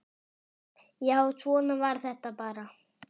Já, svona var þetta bara.